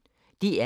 DR P1